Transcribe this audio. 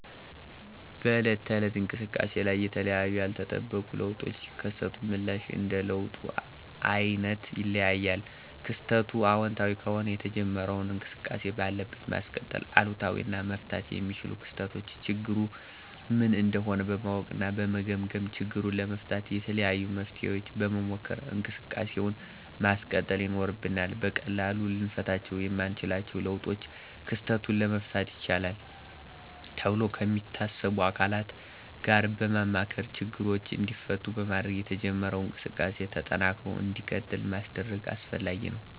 በዕለት ተዕለት እንቅሰቃሴ ላይ የተለያዩ ያልተጠበቁ ለውጦች ሲከሰቱ ምላሽ እንደ ለውጡ አይነት ይለያያል። ክስተቱ አወንታዊ ከሆነ የተጀመረውን እንቅስቃሴ ባለበት ማስቀጠል፤ አሉታዊ እና መፈታት የሚችሉ ክስተቶችን ችግሩ ምን እንደሆነ በማወቅ እና በመገምገም ችግሩን ለመፍታት የተለያዩ መፍትሔዎችን በመሞከር እንቅሰቃሴውን ማስቀጠል ይኖርብናል። በቀላሉ ልንፈታቸው የማንችለውን ለውጦች ክስተቱን ለመፍታት ይችላሉ ተብሎ ከሚታሰቡ አካላት ጋር በማማከር ችግሮቹ እንዲፈቱ በማድረግ የተጀመረው እንቅስቃሴ ተጠናክሮ እንዲቀጥል ማስደረግ አስፈላጊ ነው።